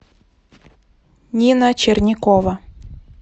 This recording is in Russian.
нина чернякова